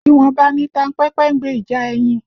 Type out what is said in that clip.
Ìwọ̀nba ni tanpẹ́pẹ́ ń gbe ìjà ẹyin